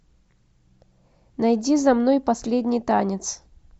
найди за мной последний танец